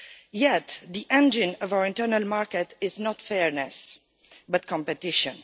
Yet, the engine of our internal market is not fairness, but competition.